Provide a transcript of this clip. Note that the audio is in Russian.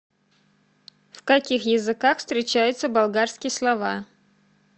в каких языках встречаются болгарские слова